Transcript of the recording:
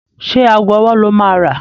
Ṣé ago ọwọ́ lo máa rà?